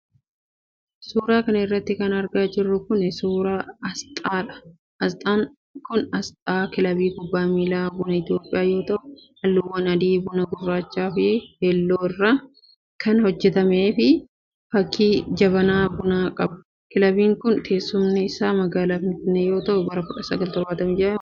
Suura kana irratti kan argaa jirru kun, suura asxaadha. Asxaan kun, asxaa kilabii kubbaa miilaa Buna Itoophiyaa yoo ta'u, haalluuwwan adii ,bunaa, gurraacha fi keelloo irraa kan hojjatame akkasumas walakkaa isaatti fakkii jabanaa bunaa qaba. Kilabiin kun teessumni isaa magaalaa finfinnee yoo ta'u, bara 1976 hundeeffame.